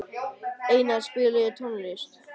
Einar, spilaðu tónlist.